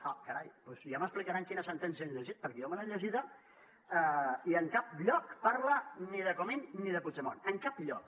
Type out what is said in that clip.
ah carai doncs ja m’explicaran quina sentència han llegit perquè jo me l’he llegida i en cap lloc parla ni de comín ni de puigdemont en cap lloc